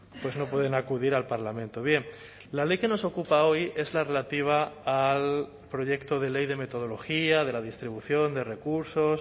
pues no pueden acudir al parlamento bien la ley que nos ocupa hoy es la relativa al proyecto de ley de metodología de la distribución de recursos